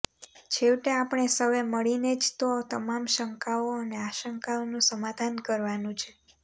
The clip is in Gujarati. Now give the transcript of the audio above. છેવટે આપણે સૌએ મળીને જ તો તમામ શંકાઓ અને આશંકાઓનુ સમાધાન કરવાનુ છે